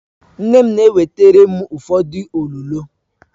Nne m na-ewetara m ụfọdụ olulo